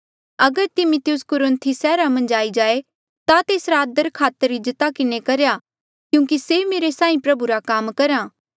अगर तिमिथियुस कुरुन्थी सैहरा मन्झ आई जाए ता तेसरा आदरखातर इज्जता किन्हें करेया क्यूंकि से मेरे साहीं प्रभु रा काम करहा